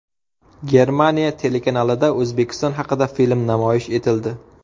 Germaniya telekanalida O‘zbekiston haqida film namoyish etildi.